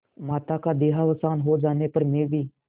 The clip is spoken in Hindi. माता का देहावसान हो जाने पर मैं भी